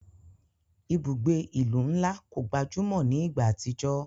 Ibugbe ilu nla ko gbajumo ni igba atijọ.